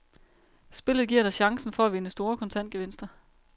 Spillet giver dig chancen for at vinde store kontantgevinster.